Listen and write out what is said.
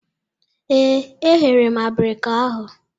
Ee, e ghere m abirika ahụ.